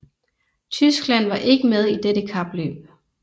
Tyskland var ikke med i dette kapløb